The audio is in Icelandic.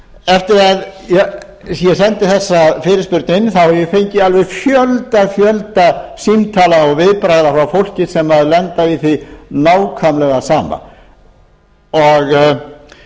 eftir að ég sendi þessa fyrirspurn inn hef ég fengið fjöldann allan af símtölum og viðbrögðum frá fólki sem hefur lent í því nákvæmlega sama þá fór ég að velta því fyrir